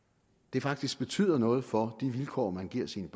faktisk betyder noget for de vilkår man giver sine